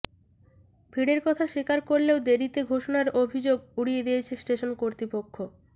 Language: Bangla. ভিড়ের কথা স্বীকার করলেও দেরিতে ঘোষণার অভিযোগ উড়িয়ে দিয়েছে স্টেশন কর্তৃপক্ষ